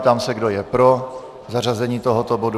Ptám se, kdo je pro zařazení tohoto bodu.